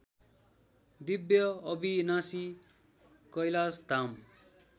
दिव्य अविनाशी कैलाशधाम